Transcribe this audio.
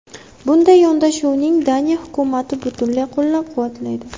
Bunday yondashuvni Daniya hukumati butunlay qo‘llab-quvvatlaydi.